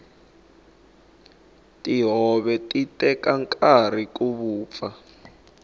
tihove ti teka nkarhi ku vupfa